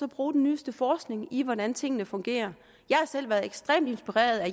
bruge den nyeste forskning i hvordan tingene fungerer jeg har selv været ekstremt inspireret